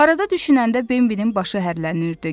Arada düşünəndə Bembinin başı hərlənirdi.